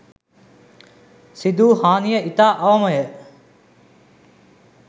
සිදුවූ හානිය ඉතා අවමය.